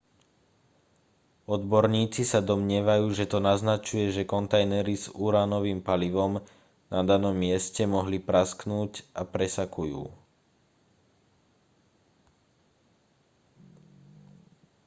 odborníci sa domnievajú že to naznačuje že kontajnery s uránovým palivom na danom mieste mohli prasknúť a presakujú